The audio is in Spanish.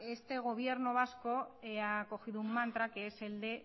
este gobierno vasco ha cogido un mantra que es el de